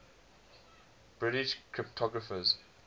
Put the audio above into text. british cryptographers